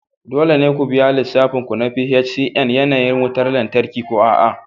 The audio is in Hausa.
Dole ne ku biya lissafin ku na PHCN yanayin wutar lantarki ko a'a